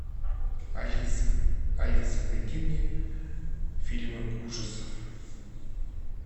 алиса алиса найди мне фильмы ужасов